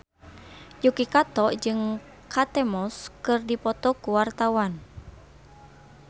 Yuki Kato jeung Kate Moss keur dipoto ku wartawan